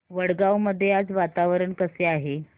वडगाव मध्ये आज वातावरण कसे आहे